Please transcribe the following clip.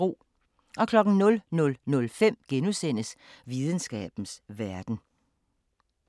00:05: Videnskabens Verden *